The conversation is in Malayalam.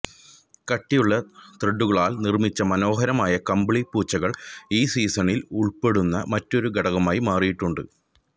കട്ടിയുള്ള ത്രെഡുകളാൽ നിർമ്മിച്ച മനോഹരമായ കമ്പിളി പൂച്ചകൾ ഈ സീസണിൽ ഉൾപ്പെടുന്ന മറ്റൊരു ഘടകമായി മാറിയിട്ടുണ്ട്